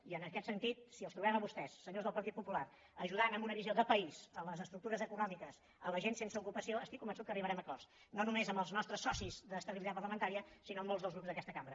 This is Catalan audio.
i en aquest sentit si els trobem a vostès senyors del partit popular ajudant amb una visió de país les estructures econòmiques la gent sense ocupació estic convençut que arribarem a acords no només amb els nostres socis d’estabilitat parlamentària sinó amb molts dels grups d’aquesta cambra